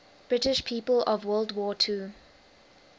british people of world war ii